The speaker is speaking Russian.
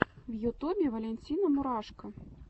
в ютубе валентина мурашко